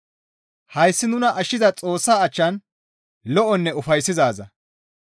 Hayssi nuna ashshiza Xoossaa achchan lo7onne ufayssizaaza.